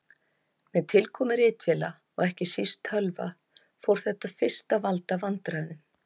Með tilkomu ritvéla og ekki síst tölva fór þetta fyrst að valda vandræðum.